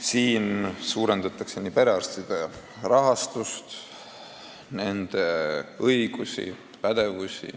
Nüüd suurendataksegi perearstide rahastust, nende õigusi ja pädevust.